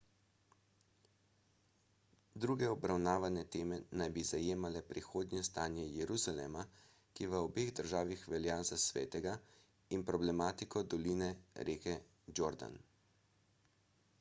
druge obravnavane teme naj bi zajemale prihodnje stanje jeruzalema ki v obeh državah velja za svetega in problematiko doline reke jordan